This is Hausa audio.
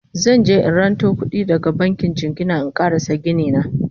zanje in ranto kuɗi daga bankin jingina in ƙarasa Gini na